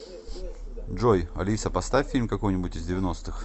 джой алиса поставь фильм какой нибудь из девяностых